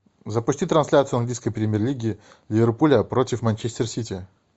запусти трансляцию английской премьер лиги ливерпуля против манчестер сити